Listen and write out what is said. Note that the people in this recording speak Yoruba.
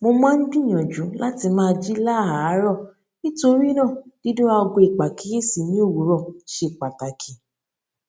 mo máa ń gbìyànjú láti máa jí láàárò nítorí náà dídún aago ìpàkíyèsí ní òwúrọ ṣe pàtàkì